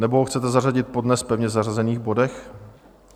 Nebo ho chcete zařadit po dnes pevně zařazených bodech?